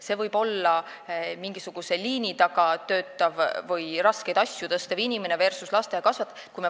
See võib olla liini taga töötav või raskeid asju tõstev inimene versus lasteaiakasvataja.